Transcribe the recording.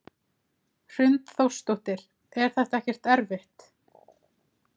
Hrund Þórsdóttir: Er þetta ekkert erfitt?